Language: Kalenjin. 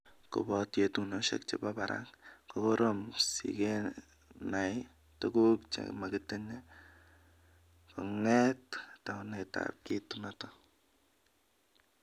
Kobot yetunoshek chebo barak, ko korom sikenai tuguk chemagatin konget taunetab kit noto